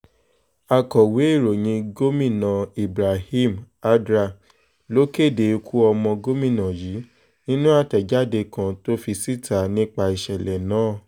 akọ̀wé ìròyìn gómìnà ibrahim addra ló kéde ikú ọmọ gómìnà yìí nínú àtẹ̀jáde kan tó fi síta nípa ìṣẹ̀lẹ̀ náà